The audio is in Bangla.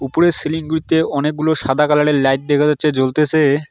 উপরের সিলিং -গুলিতে অনেকগুলো সাদা কালার -এর লাইট দেখা যাচ্ছে জ্বলতেসে।